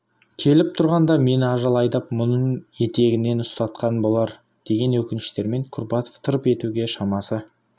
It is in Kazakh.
келіп тұрғанда мені ажал айдап мұның етегінен ұстатқан болар деген өкініштермен курбатов тырп етуге шамасы